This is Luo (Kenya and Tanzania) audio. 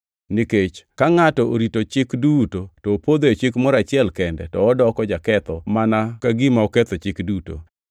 Nikech ka ngʼato orito chik duto to opodho e Chik moro achiel kende to odoko jaketho mana ka gima oketho chik duto.